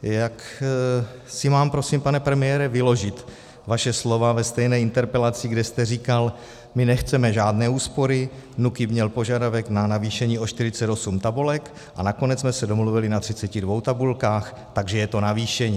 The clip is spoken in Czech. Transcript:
Jak si mám prosím, pane premiére, vyložit vaše slova ve stejné interpelaci, kde jste říkal: My nechceme žádné úspory, NÚKIB měl požadavek na navýšení o 48 tabulek a nakonec jsme se domluvili na 32 tabulkách, takže je to navýšení.